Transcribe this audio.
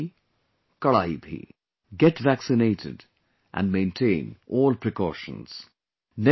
'Dawaibhi, Kadaibhi' Get vaccinated and maintain all precautions